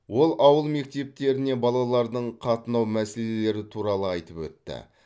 ол ауыл мектептеріне балалардың қатынау мәселелері туралы айтып өтті